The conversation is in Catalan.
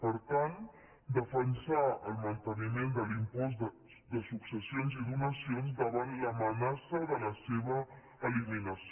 per tant defensar el manteniment de l’impost de successions i donacions davant l’amenaça de la seva eliminació